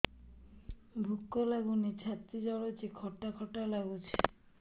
ଭୁକ ଲାଗୁନି ଛାତି ଜଳୁଛି ଖଟା ଖଟା ଲାଗୁଛି